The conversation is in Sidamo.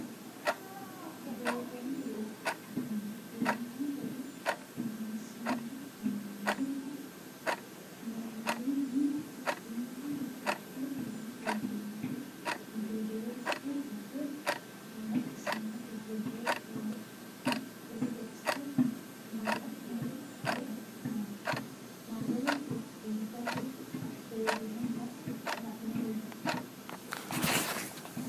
Doogono nooha labbano woroni qolle maganiseemmo lawanori ni duumu gordu iima leellanori gederichi base maala'lisanote togo kalaqonna qooxeessa maala'line diaguranni marre dargaho leelline la'niro.